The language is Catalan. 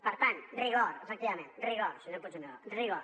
per tant rigor efectivament rigor senyor puigneró rigor